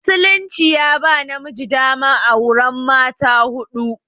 Musulunci ya ba namiji daman auran mata huɗu.